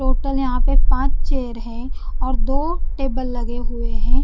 Total यहां पे पांच चेयर है और दो टेबल लगे हुए हैं।